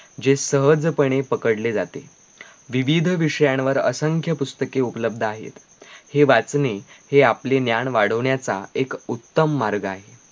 जे सहज पणे पकडले जाते विविध विषयांवर असंख्य पुस्तके उपलब्ध आहेत हे वाचणे हे आपले ज्ञान वाढवण्याचा एक उत्तम मार्ग आहे